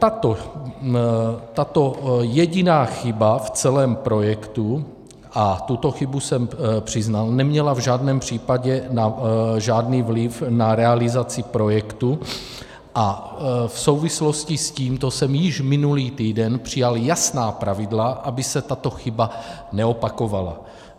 Tato jediná chyba v celém projektu, a tuto chybu jsem přiznal, neměla v žádném případě žádný vliv na realizaci projektu a v souvislosti s tímto jsem již minulý týden přijal jasná pravidla, aby se tato chyba neopakovala.